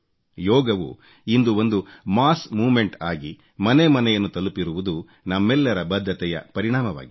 ಯೋಗವು ಇಂದು ಒಂದು ಮಾಸ್ ಮೂವ್ಮೆಂಟ್ ಆಗಿ ಮನೆ ಮನೆಯನ್ನು ತಲುಪಿರುವುದು ನಮ್ಮೆಲ್ಲರ ಬದ್ಧತೆಯ ಪರಿಣಾಮವಾಗಿದೆ